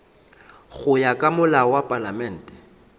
ya ka molao wa palamente